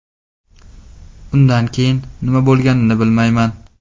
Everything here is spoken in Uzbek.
Undan keyin nima bo‘lganini bilmayman.